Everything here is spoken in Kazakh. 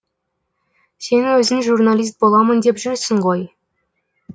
сен өзің журналист боламын деп жүрсің ғой